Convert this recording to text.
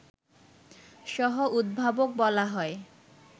সহ-উদ্ভাবক বলা হয়